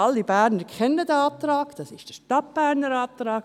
Alle Berner kennen diesen Antrag, es ist der Stadtberner Antrag.